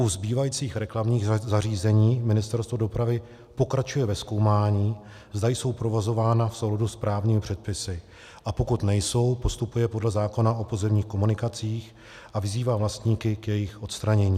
U zbývajících reklamních zařízení Ministerstvo dopravy pokračuje ve zkoumání, zda jsou provozována v souladu s právními předpisy, a pokud nejsou, postupuje podle zákona o pozemních komunikacích a vyzývá vlastníky k jejich odstranění.